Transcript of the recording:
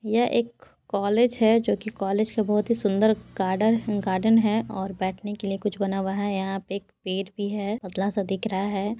यह एक कॉलेज है जो कि कॉलेज की बहुत ही सुंदर गार्डन गार्डन है और बैठने के लिए कुछ बना हुआ है यहाँ पे एक पेड़ भी है पतला सा दिख रहा है।